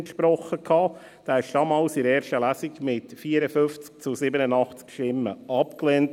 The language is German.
Damals wurde er in der ersten Lesung mit 54 zu 87 Stimmen abgelehnt.